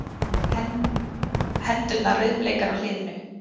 Hendurnar rauðbleikar á hliðinu.